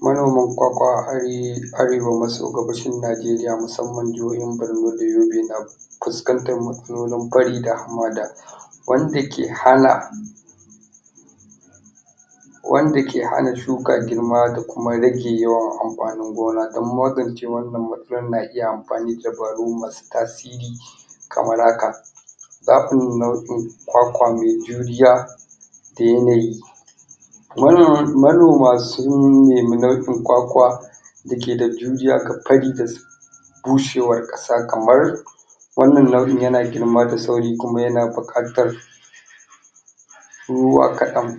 manoman ƙwaƙwa a arewa maso gabashin najeriya musamman jahohin barno da yobe na fuskantar matsalolin fari da hamada wanda ke hana wanda ke hana shuka girma da kuma rege yawan amfanin gona dan magance wannan matsalar na iya amfani da dabaru masu tasiri kamar haka zaɓin nau'in ƙwaƙwa me juriya da yanayi manoma sun neme nau'in ƙwaƙwa dake da juriya da fari da da bushewar ƙasa kamar wannan nau'in yana girma da sauri kuma yana buƙatar ruwa kaɗan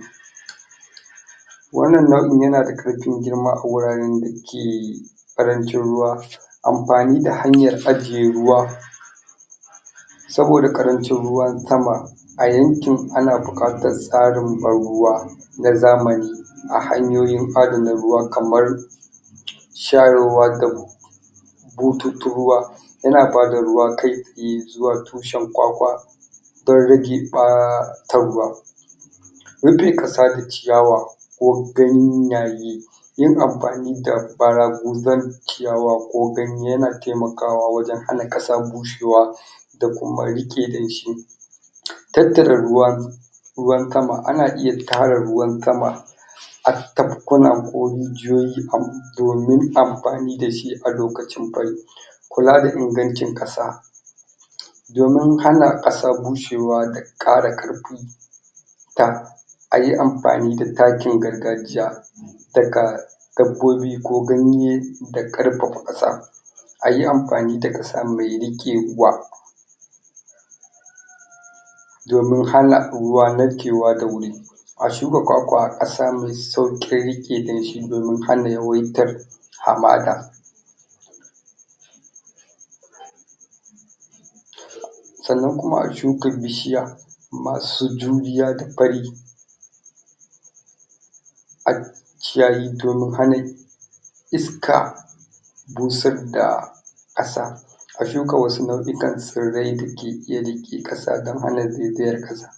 wannan nau'in yana da ƙarfin girma a wuraran dake ƙarancin ruwa amfani da hanyar ajje ruwa tsawo da ƙarancin ruwa tama a yankin ana buƙatar tsarin ban ruwa na zamani a hanyoyin adana ruwa kamar shayarwa da bututun ruwa yana bada ruwa kai tsaye zuwa tusahn ƙwaƙwa don rage ɓata ruwa rufe ƙasa da ciyawa ko ganyaye yin amfani da ɓara guzan ciyawa ko ganye yana taimakawa wajan hana ƙasa bushewa da kuma riƙe danshi tattara ruwa ruwan tama ana iya tara ruwan tama a tafkuna ko rijiyoyi domin amfani dashi a lokacin fari kula da ingancin ƙasa domin hana ƙasa bushewa da ƙara ƙarfi ta ayi amfani da takin gargajiya daga dabbobi ko ganye da ƙarfafa ƙasa ayi amfani da ƙasa mai riƙewa domin hana ruwa narkewa da wuri a shuka ƙwaƙwa a ƙasa me sauƙin riƙe danshi domin hana yawaitar hamada sannan kuma a shuka bishiya masu juriya da fari a kiyaye domin hana iska bushar da ƙasa a shuka wasu nau'ikan tsirrai dake iya riƙe ƙasa dan hana zaizayar ƙasa